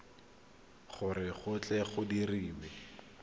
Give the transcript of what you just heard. gore go tle go dirwe